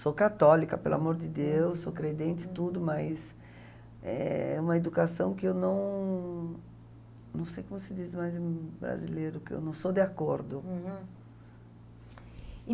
Sou católica, pelo amor de Deus, sou credente, tudo, mas é uma educação que eu não... Não sei como se diz mais em brasileiro, que eu não sou de acordo.